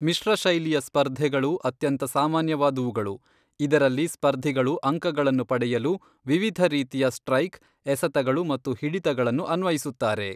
ಮಿಶ್ರ ಶೈಲಿಯ ಸ್ಪರ್ಧೆಗಳು ಅತ್ಯಂತ ಸಾಮಾನ್ಯವಾದವುಗಳು, ಇದರಲ್ಲಿ ಸ್ಪರ್ಧಿಗಳು ಅಂಕಗಳನ್ನು ಪಡೆಯಲು ವಿವಿಧ ರೀತಿಯ ಸ್ಟ್ರೈಕ್, ಎಸೆತಗಳು ಮತ್ತು ಹಿಡಿತಗಳನ್ನು ಅನ್ವಯಿಸುತ್ತಾರೆ.